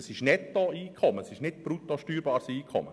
Das ist Nettokommen und nicht brutto steuerbares Einkommen.